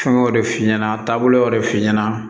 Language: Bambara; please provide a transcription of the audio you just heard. Fɛn wɛrɛw de f'i ɲɛna taabolo y'o de f'i ɲɛna